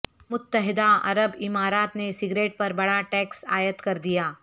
متحدہ عرب امارات نے سگریٹ پر بڑا ٹیکس عائد کردیا